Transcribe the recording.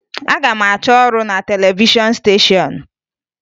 Aga m achọ ọrụ na televishọn steshọn